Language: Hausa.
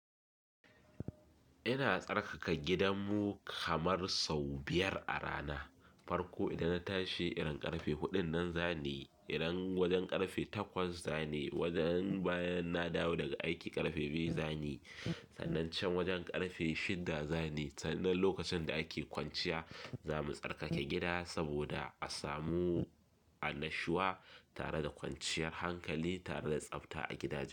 Ina tsarkaka gidanmu kamar sau biyar a rana. Farko idan na tashi, irin ƙarfe huɗun nan zani, idan wajen ƙarfe takwas zani, wajen bayan na dawo daga aiki ƙarfe biyu zani, sannan can wajen ƙarfe shidda zani. Sannan lokacin da ake kwanciya, zamu tsarkake gida saboda a samu annashiwa tare da kwanciyar hankali tare da tsabta a gidaje.